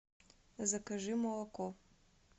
закажи молоко